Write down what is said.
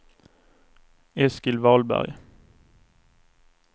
Eskil Wahlberg